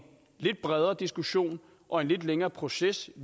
lidt bredere diskussion og en lidt længere proces